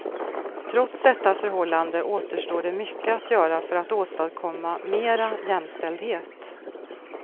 Trots detta förhållande återstår det mycket att göra för att åstadkomma mera jämställdhet.